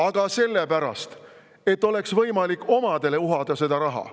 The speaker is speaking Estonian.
Aga sellepärast, et oleks võimalik omadele uhada seda raha.